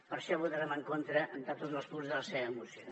per això votarem en contra de tots els punts de la seva moció